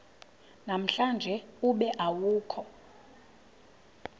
namhlanje ube awukho